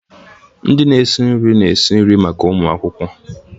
Ndị na-esi nri na-esi nri maka ụmụ akwụkwọ.